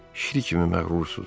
Şir kimi məğrursunuz.